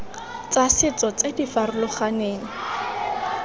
tsa setso tse di farologaneng